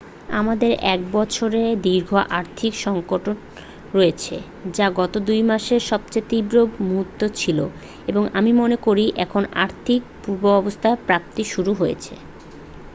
"আমাদের এক বছরের দীর্ঘ আর্থিক সংকট রয়েছে যা গত 2 মাসে সবচেয়ে তীব্র মুহূর্তে ছিল এবং আমি মনে করি এখন আর্থিক পূর্বাবস্থা প্রাপ্তি শুরু হয়েছে। "